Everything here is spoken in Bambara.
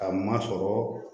Ka masɔrɔ